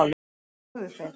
hvað sögðu þeir?